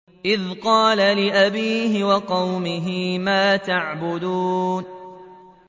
إِذْ قَالَ لِأَبِيهِ وَقَوْمِهِ مَا تَعْبُدُونَ